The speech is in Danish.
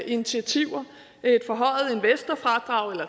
initiativer et forhøjet investorfradrag eller